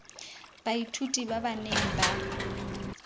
baithuti ba ba neng ba